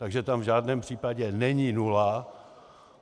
Takže tam v žádném případě není nula.